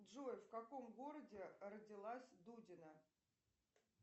джой в каком городе родилась дудина